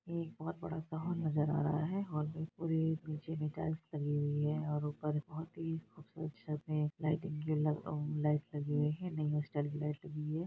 ये एक बहोत बड़ा गाँव नजर आ रहा है और हॉल मे पूरे नीचे भी टाइल्स लगी हुई हैं। और ऊपर बहोत ही खूबसूरत छत है लाइट लगी हुई हैं न्यू स्टाइल की लाईट लगी हुई हैं।